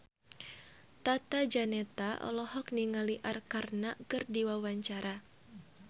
Tata Janeta olohok ningali Arkarna keur diwawancara